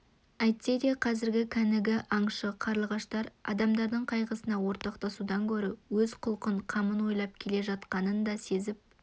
әйтсе де қазіргі кәнігі аңшы қарлығаштар адамдардың қайғысына ортақтасудан гөрі өз құлқын қамын ойлап келе жатқанын да сезіп